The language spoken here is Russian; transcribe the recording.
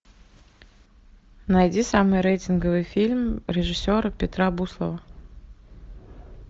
найди самый рейтинговый фильм режиссера петра буслова